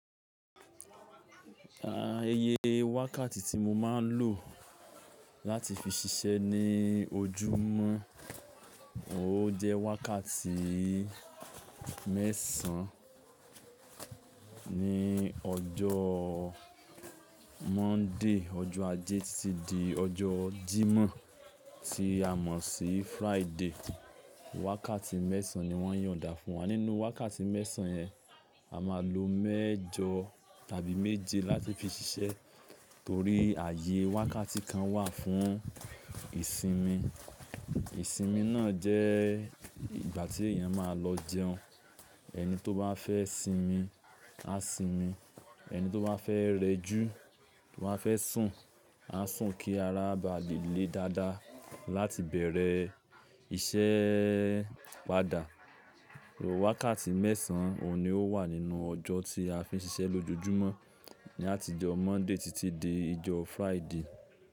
Iyẹ wákàtí tí mo máa ń lò láti fi ṣiṣẹ́ ní ojúmọ́, ó jẹ́ wákàtí mẹ́sàn-án ní ọjọ́ Monday, ọjọ́ Ajé títí di ọjọ́ Jímọ̀ tí a mọ̀ sí Friday. Wákàtí mẹ́sàn-án ni wọ́n yo n dà fún wa. Nínú wákàtí mẹ́sàn-án yẹn, a máa lo mẹ́jọ tàbí méje láti fi ṣiṣẹ́ torí ààyè wákàtí kan wà fún ìsinmi. Ìsinmi náà jẹ́ ìgbà tí èèyàn máa lọ jẹun. Ẹni tó bá fẹ́ sinmi, á sinmi. Ẹni tó bá fẹ́ rẹjú tò bá fẹ́ sùn, á sùn kí ara bá lè le dáadáa láti bẹ̀rẹ̀ iṣẹ́ padà. Wákàtí mẹ́sàn-án òní ó wà nínú ọjọ́ tí a fi ń ṣiṣẹ́ lójoojúmọ́ ní àtijọ́ Monday títí dé ìjọ Friday.